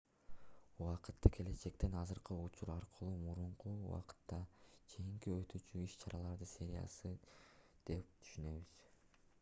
убакытты келечектен азыркы учур аркылуу мурунку убакытка чейин өтүүчү иш-чаралардын сериясы деп түшүнөбүз